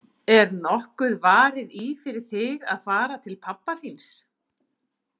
Er nokkuð varið í fyrir þig að fara til pabba þíns?